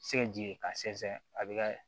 Se ji ka sɛnsɛn a bɛ ka